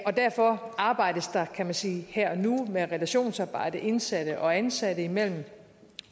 og derfor arbejdes der kan man sige her og nu med relationsarbejdet indsatte og ansatte imellem